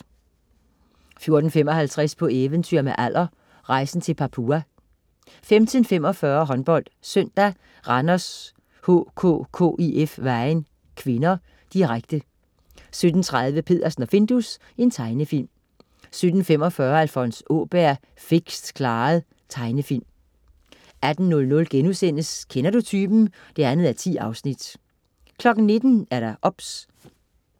14.55 På eventyr med Aller. Rejsen til Papua 15.45 HåndboldSøndag: Randers HK-KIF Vejen (k), direkte 17.30 Peddersen og Findus. Tegnefilm 17.45 Alfons Åberg, fikst klaret. Tegnefilm 18.00 Kender du typen? 2:10* 19.00 OBS